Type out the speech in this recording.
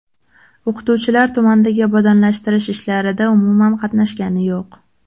O‘qituvchilar tumandagi obodonlashtirish ishlarida umuman qatnashgani yo‘q.